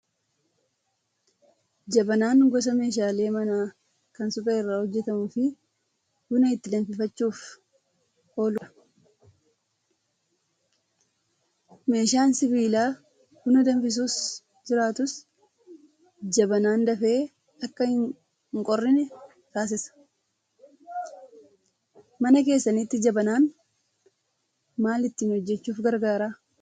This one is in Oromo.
Jabanaan gosa meeshaalee manaa kan suphee irraa hojjatamuu fi buna itti danfifachuuf ooludha. Meeshaan sibiilaa buna danfisu jiraatus jabanaan dafee akka hin qorrine taasisa. Mana keessanitti jabanaan maal ittiin hojjachuuf gargaara?